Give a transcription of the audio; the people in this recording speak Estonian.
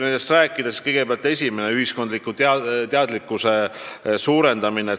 Kõigepealt esimene: teadlikkuse tõstmine.